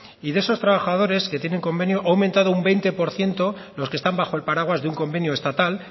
y de esos trabajadores que tienen convenio ha aumentado un veinte por ciento los que están bajo el paraguas de un convenio estatal